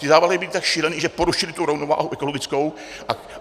Ty závlahy byly tak šílené, že porušily tu rovnováhu ekologickou.